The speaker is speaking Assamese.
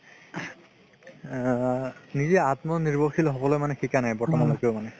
আ নিজে আত্মনিৰ্ভৰশীল হ'বলৈ শিকা নাই বৰ্তমানলৈকেও মানে